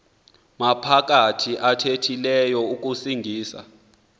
maphakathi athethileyo akusingisa